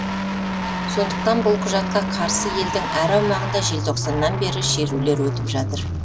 сондықтан бұл құжатқа қарсы елдің әр аумағында желтоқсаннан бері шерулер өтіп жатыр